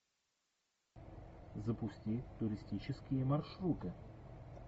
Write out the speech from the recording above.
запусти туристические маршруты